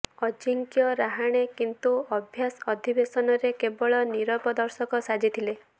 ଅଜିଙ୍କ୍ୟ ରାହାଣେ କିନ୍ତୁ ଅଭ୍ୟାସ ଅଧିବେଶନରେ କେବଳ ନିରବ ଦର୍ଶକ ସାଜିଥିଲେ